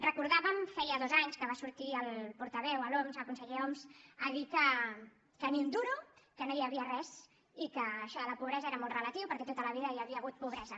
recordàvem feia dos anys que va sortir el portaveu l’homs el conseller homs a dir que ni un duro que no hi havia res i que això de la pobresa era molt relatiu perquè tota la vida hi havia hagut pobresa